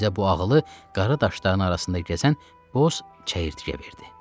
Bizə bu ağılı qara daşların arasından keçən boz çəyirtkə verdi.